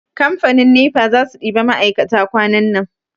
Kamfanin nefa za su ɗiba ma'aikata kwanan nan.